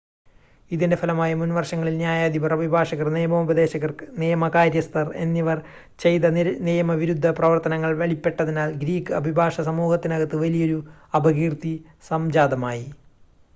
ഇതിൻ്റെ ഫലമായി മുൻവർഷങ്ങളിൽ ന്യായാധിപർ അഭിഭാഷകർ നിയമോപദേശകർ നിയമ കാര്യസ്ഥർ എന്നിവർ ചെയ്ത നിയമവിരുദ്ധ പ്രവർത്തനങ്ങൾ വെളിപ്പെട്ടതിനാൽ ഗ്രീക്ക് അഭിഭാഷക സമൂഹത്തിനകത്ത് വലിയൊരു അപകീർത്തി സംജാതമായി